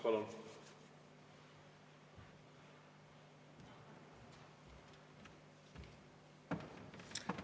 Palun!